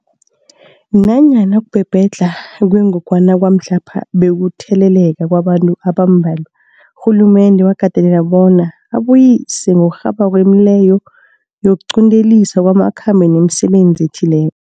Nanyana ukubhebhedlha kwengogwana kwamhlapha bekukutheleleka kwabantu abambalwa, urhulumende wakateleleka bona abuyise ngokurhabako imileyo yokuqinteliswa kwamakhambo nemisebenzi ethile